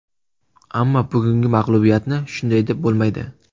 Ammo bugungi mag‘lubiyatni shunday deb bo‘lmaydi.